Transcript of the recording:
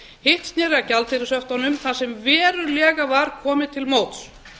hitt sneri að gjaldeyrishöftunum þar sem verulega var komið til móts